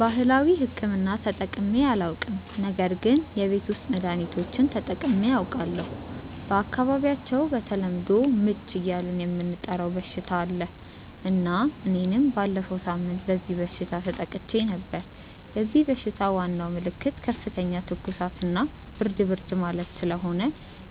ባህላዊ ሕክምና ተጠቅሜ አላውቅም ነገር ግን የቤት ውስጥ መድሀኒቶችን ተጠቅሜ አውቃለሁ። በአካባቢያቸው በተለምዶ "ምች" እያልን የምንጠራው በሽታ አለ እና እኔም ባለፈው ሳምንት በዚህ በሽታ ተጠቅቼ ነበር። የዚህ በሽታ ዋናው ምልክት ከፍተኛ ትኩሳት እና ብርድ ብርድ ማለት ስለሆነ